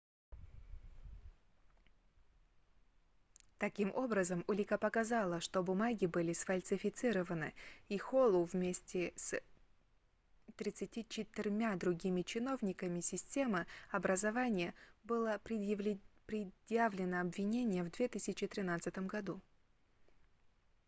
таким образом улика показала что бумаги были сфальсифицированы и холлу вместе с 34-мя другими чиновниками системы образования было предъявлено обвинение в 2013 году